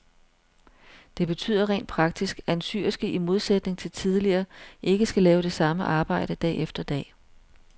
Det betyder rent praktisk, at en syerske i modsætning til tidligere ikke skal lave det samme arbejde dag efter dag.